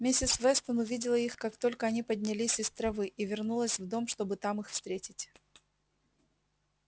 миссис вестон увидела их как только они поднялись из травы и вернулась в дом чтобы там их встретить